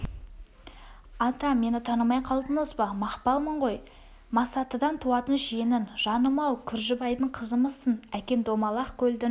ата мені танымай қалдыңыз ба мақпалмын ғой масатыдан туатын жиенің жаным-ау күржібайдың қызымысың әкең домалақ көлдің